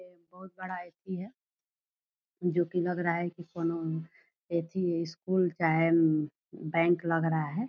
ये बोहोत बड़ा एथि जो की लग रहा है की कौनो एथि स्कूल का है एम बैंक लग रहा है।